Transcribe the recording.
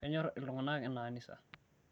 kenyor iltungana ina kanisa